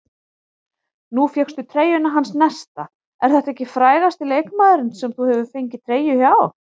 Nú fékkstu treyjuna hans Nesta, er þetta frægasti leikmaðurinn sem þú hefur fengið treyju hjá?